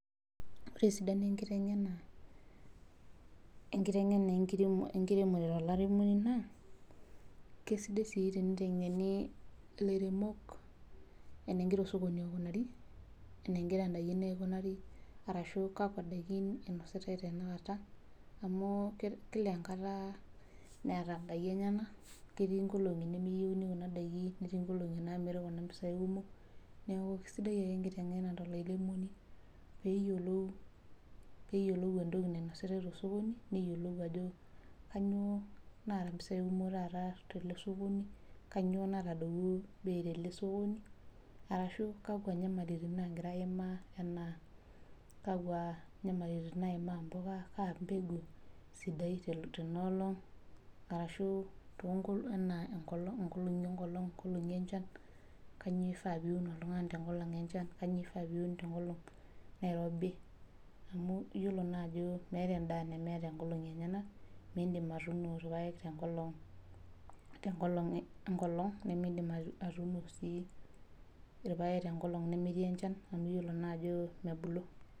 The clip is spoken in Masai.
Ore esidano enkiteng'ena, enkiteng'ena tolairemoni naa, kesidai sii tenitengeni ilairemok, enegira osokoni aikunari, enegira daikin aikunari arashu kakua daikin inositae tenakata. amh Kila enkata neeta daikin enyenak. ketii nkolong'i nemeyieuni kina daiki. netii nkolong'i naamiri Kuna pisai kumok. neeku sidai ake enkiteng'ena tolairemoni. pee eyiolou entoki nainositae tosokoni. neyiolou, ajo kainyioo naa mpisai taata kumok tele sokoni, kainyioo natadowuo bei tele sokoni, arashu kakua nyamalitin naagirae aimaa. tenas kakua moyiaritin naimaa mpuka. kaa mpeku esidai tena olong. kainyioo ifaa poun oltungani tenkolong enchan. kainyioo ifaa piun tenkolong nairobi. amu iyiolo naa Aajo meeta edaa. nemeeta nkolong'i enyenak. miidim atuunu irpaek tenkolong nimidim atuuno irpaek tenkolong enchan Nemeyiolo naa ajo mebulu.